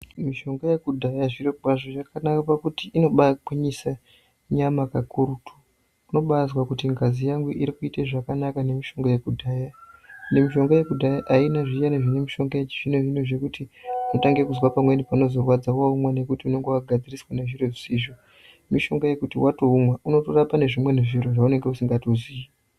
Mishonga yekudhaya zviro kwazvo yakanaka pakuti inobagwinyise nyama pakurutu unobazwa kuti ngazi yangu iri kuite zvakanaka nemishonga yekudhaya and mishonga yekudhaya aina zviyani zvine mishonga yazvino zvino zvekuti jnotange kuzwe pamweni panozorwwdza waumwa nekuti unenge wagadziriswa nezvimweni zvisizvo mushonga wekuti waumwa unotorapa nezvimweni zviro zvaunenge usingatozii